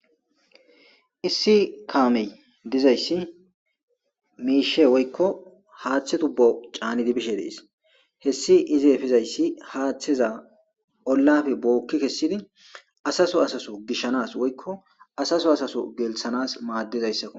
issi kaamey dizayssi miishe woykko haaththe tubbo caanidibishe dees hessi ize efizayssi haaththeza ollafe bookki kessidi asaso asaso gishshanas woykko asaso asaso gelthanas maaddizayssakko